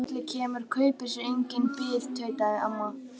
Hvenær sem kallið kemur kaupir sér enginn bið tautaði amma.